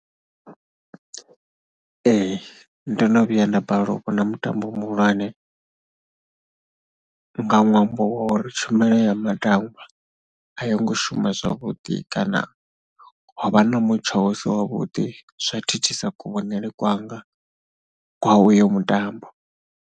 Ee ndo no vhuya nda balelwa u vhona mutambo muhulwane nga ṅwambo wa uri tshumelo ya matambwa a yo ngo shuma zwavhuḓi kana ho vha na mutsho u si wavhuḓi, zwa thithisa kuvhonele kwanga kwa uyo mutambo.